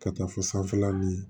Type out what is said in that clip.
Ka taa fo sanfɛla ni